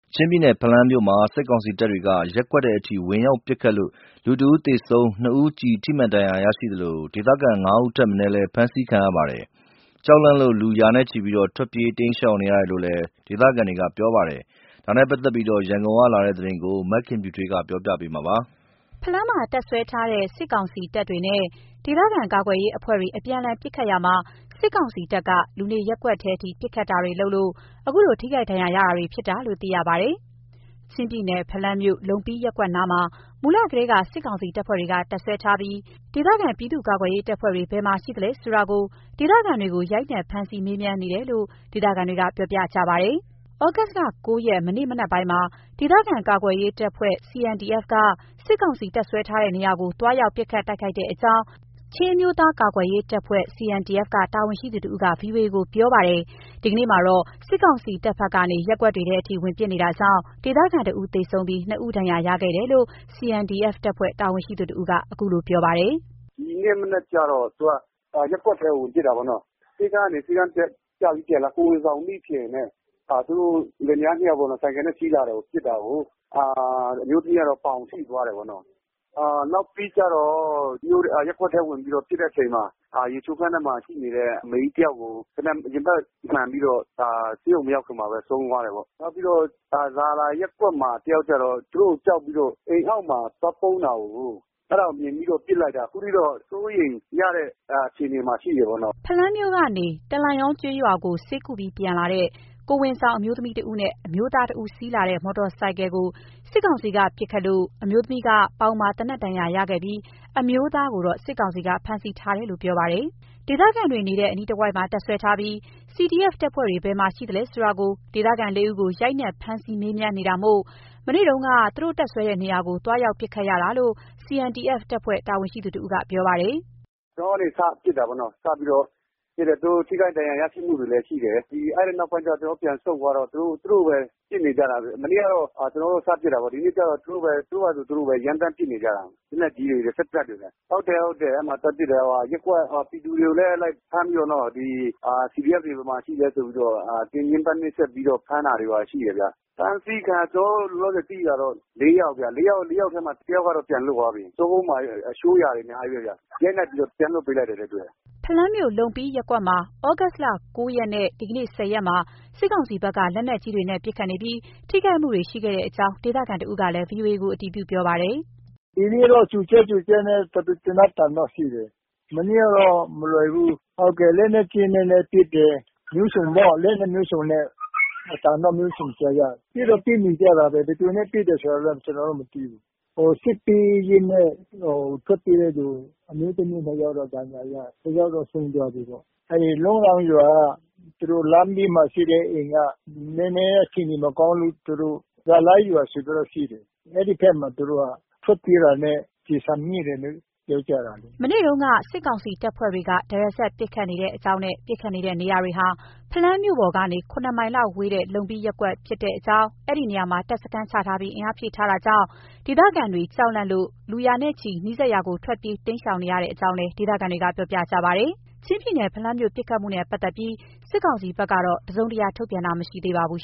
ချင်းပြည်နယ်၊ ဖလမ်းမြို့မှာ စစ်ကောင်စီတပ်တွေက ရပ်ကွက်ထဲထိ ဝင်ရောက်ပစ်ခတ်လို့ တစ်ဦးသေဆုံး၊ နှစ်ဦး ကျည်ထိမှန်ဒဏ်ရာရရှိသလို ဒေသခံ ၅ ဦးထက်မနည်း ဖမ်းဆီးခံရပါတယ်။ ဒေသခံတွေ ကြောက်လန့်လို့ လူရာနဲ့ချီထွက်ပြေးတိမ်းရှောင်နေရတယ်လို့ ဒေသခံတွေ ပြောပါတယ်။ဒီအကြောင်းကို ရန်ကုန်ကလာတဲ့ သတင်း မခင်ဖြူထွေးပြောပြမှာပါ။ ဖလမ်းမှာ တပ်စွဲထားတဲ့ စစ်ကောင်စီတပ်တွေကို ဒေသခံကာကွယ်ရေးအဖွဲ့တွေ အပြန်အလှန်ပစ်ခတ်ရာမှာ၊ စစ်ကောင်စီတပ်က လူနေရပ်ကွက်ထဲ ပစ်ခတ်တာကြောင့် အခုလို ထိခိုက်ဒဏ်ရာခဲ့တာလို့ သိရပါတယ် ။ ချင်းပြည်နယ်၊ ဖလမ်းမြို့ လုံပီး(လုံးရန်)ရပ်ကွက်နားမှာ မူလကတည်းက စစ်ကောင်စီတပ်ဖွဲ့က တပ်စွဲထားပြီး၊ ဒေသခံပြည်သူ့ကာကွယ်ရေးတပ်ဖွဲ့တွေ ဘယ်မှာရှိတဲ့အကြောင်း ဒေသခံတွေကို ရိုက်နှက်ဖမ်းဆီး မေးမြန်နေတယ်လို့ ဒေသခံတွေက ပြောပါတယ်။ သြဂုတ်လ ၉ ရက်၊ မနေ့မနက်ပိုင်းမှာ ဒေသခံကာကွယ်ရေးတပ်ဖွဲ့ CNDF က စစ်ကောင်စီတပ်စွဲထားတဲ့ နေရာကို သွားရောက်ပစ်ခတ်တိုက်ခိုက်ခဲ့ကြောင်း ချင်းအမျိုးသားရေးအဖွဲ့ချုပ် CNDF တပ်ဖွဲ့က တာဝန်ရှိသူတစ်ဦးက ဗွီအိုအေကို ပြောပါတယ်။ ဒီကနေ့မှာတော့ စစ်ကောင်စီတပ်ဖက်က ရပ်ကွက်ထဲထိ ဝင်ပစ်နေတာကြောင့် ဒေသခံ တစ်ဦး သေဆုံးပြီး နှစ်ဦး ဒဏ်ရာရရှိခဲ့တယ်လို့ CNDF တပ်ဖွဲ့ တာဝန်ရှိသူတစ်ဦးက အခုလို ပြောပါတယ်။ “ဒီနေ့မနက်ကျတော့ ရပ်ထဲကို ဝင်ပစ်တာပေါ့နော်။ ဆေးခန်းကနေေ ဆးခန်းပြပြီးပြန်လာတဲ့ ကိုယ်ဝန်ဆောင်မိခင်နဲ့ သူတို့ လင်မယားနှစ်ယောက် ဆိုင်ကယ်နဲ့ စီးလာတယ် (စစ်ကောင်စီက) ပစ်တာကို အမျိုးသမီးကတော့ပေါင်ထိသွားတယ်ပေ့ါနော်၊ နောက်ပြီးကျတော့ ရပ်ကွက်ဝင်ပစ်တဲ့အချိန်မှာေ ရချိုးခန်းထဲမှာ ရှိနေတဲ့ အမေကြီးတစ်ယောက်ကို သေနတ်ရင်ဘတ်မှန်ပြီးတော့ဆေးရုံမရောက်ခင်မှာပဲ ဆုံးသွားတယ်ပေါ့၊ နောက်ပြီးတော့ ဇာလိုင်ရပ်ကွက်မှာတစ်ယောက်ကျတော့ သူတို့ကို ကြောက်လို့ပြီးတော့ အိမ်အောက်မှာသွားပုန်းတာကို အဲ့ဒါကို မြင်ပြီးတော့ ပစ်လိုက်တာ အခုထိတော့ စိုးရိမ်ရတဲ့ အခြေအနေမှာရှိတယ်ပေါ့နော်။” ဖလမ်းမြို့ကနေ တလန်ရောန်ကျေးရွာကို ဆေးကုပြီးပြန်လာတဲ့ကိုယ်ဝန်ဆောင်အမျိုးသမီးတစ်ဦးနဲ့ အမျိုးသားတစ်ဦး စီးလာတဲ့မော်တော်ဆိုင်ကယ်ကို စစ်ကောင်စီက ပစ်ခတ်လို့ အမျိုးသမီးက ပေါင်မှာသေနတ်ဒဏ်ရာရှိခဲ့ပြီး အမျိုးသားကိုတော့ စစ်ကောင်စီက ဖမ်းဆီးထားကြောင်းပြောပါတယ် ဒေသခံတွေနေတဲ့ အနီးတစ်ဝိုက်မှာ တပ်စွဲထားပြီး CDF တပ်ဖွဲ့တွေဘယ်မှာရှိလဲဆိုတာ ဒေသခံ လေးဦးကို ရိုက်နှက်ဖမ်းဆီး မေးမြန်းနေတာမို့၊ မနေ့တုန်းက သူတို့တပ်စွဲတဲ့နေရာကိုသွားရောက်ပစ်ခတ်ရတာလို့ CNDF တပ်ဖွဲ့ တာဝန်ရှိသူတစ်ဦးက ပြောပါတယ်။ “ကျနော်တို့ကနေ စပစ်တာပေ့ါနော်၊ စပြီးတော့ ပစ်တယ် သူတို့ ထိခိုက်ဒဏ်ရာရရှိမှုတွေလည်း ရှိတယ်၊ အဲ့ဒီနောက်ပိုင်းကျကျနော်တို့ပြန်ဆုတ်သွားတော့ သူတို့ သူတို့ပဲ ပစ်နေကြတာ၊ မနေ့ကကတော့ ကျနော်တို့ စပစ်တာပေ့ါ၊ ဒီနေ့ကျတော့ သူတို့ပဲ သူတို့ဟာ သူတို့ရမ်းသမ်းပစ်နေကြတာ လက်နက်ကြီးတွေနဲ့ စက်သေနတ်တွေနဲ့။ ဟုတ်တယ်ဟုတ်တယ်(ကျနော်တို့)အဲ့မှာသွားပစ်တာက အဲ့မှာ ရပ်ကွက် ပြည်သူတွေကိုလည်းလိုက်ဖမ်းပြီးတော့ ဒီ CDF တွေ ဘယ်မှာရှိလဲ ဆိုပြီးတော့ညှင်းပန်းနှိပ်စက်ပြီး ဖမ်းတာတွေရှိတယ်ဗျ၊ ဖမ်းဆီးခံက ကျနော်တို့လောလောဆယ် သိတာတော့ လေးယောက်ဗျ၊ လေးယောက်ထဲမှာ တစ်ယောက်ကတော့ပြန်လွတ်သွားပြီး ကျောကုန်းမှာ ထိုးရာတွေ အများကြီးပဲဗျ၊ရိုက်နှက်ပြီးတော့ ပြန်လွတ်ပေးလိုက်တာနဲ့တူတယ်။” ဖလမ်းမြို့ လုံးရန်ရပ်ကွက်မှာ သြဂုတ်လ ၉ ရက်နဲ့ဒီကနေ့ ၁၀ ရက်မှာ စစ်ကောင်စီဘက်က လက်နက်ကြီးတွေနဲ့ ပစ်ခတ်နေပြီး ထိခိုက်မှုတွေရှိခဲ့တဲ့အကြောင်း ဒေသခံတဦးကလည်း VOA ကို အတည်ပြုပြောပါတယ်။ “ဒီနေ့ကတည်း ကြိုကြာကြိုကြာနဲ့ သေနတ်သံတော့ ရှိတယ်၊ မနေ့ကတော့မလွယ်ဘူး၊ ဟုတ်ကဲ့ လက်နက်ကြီးနဲ့လည်း ပစ်တယ် မျိုးစုံပေါ့။ လက်နက်မျိုးစုံနဲ့ အသံတော့ မျိုးစုံကြားရတယ်၊ ပစ်တော့ ပစ်နေကြတာပဲ။ ဘယ်သူနဲ့ ပစ်တယ်ဆိုတာ ကျနော်တို့ မသိဘူး။ ဟို စစ်ပြေးရင်းနဲ့ ထွက်ပြေးတဲ့သူ အမျိုးသမီး နှစ်ယောက်တော့ ဒဏ်ရာရတယ်။ တစ်ယောက်တော့ ဆုံးသွားပြီးပေ့ါ၊ အဲ့ဒီလုံးရန်ရွာက သူတို့လမ်းဘေးမှာရှိတဲ့ အိမ်က နည်းနည်းအခြေအနေမကောင်းလို့ သူတို့ တလန်ရောန်ရွာဆိုပြီးတော့ ရှိတယ်။ အဲ့ဒီဘက်မှာ သူတို့က ထွက်ပြေးတာနဲ့ ကျည်ဆံထိတယ်လို့ ပြောကြတယ်။” မနေ့ကဆိုရင် စစ်ကောင်စီတပ်တွေက သရက်စပ်ထဲ ပစ်ခတ်နေတာပါ။ ပစ်ခတ်နေတဲ့နေရာတွေဟာ ဖလမ်းမြို့ပေါ်ကနေ ၇ မိုင်လောက်ဝေတဲ့လုံပီး(လုံးရန်)ရပ်ကွက်ဖြစ်ပါတယ်။ အဲ့ဒီနေရာမှာ တပ်စခန်းချထားပြီးအင်အားဖြည့်ထားတာကြောင့် ဒေသခံတွေ ကြောက်လန့်လို့ လူရာနဲ့ ချီ နီးစပ်ရာကို ထွက်ပြေးတိမ်းရှောင်နေရတယ်လို့လည်း ဒေသခံတွေက ပြောပါတယ်။ချင်းပြည်နယ် ဖလမ်းမြို့ ပစ်ခတ်မှုနဲ့ ပတ်သက်ပြီး စစ်ကောင်စီဘက်က တစ်စုံတစ်ရာထုတ်ပြန်တာ မရှိသေးပါဘူး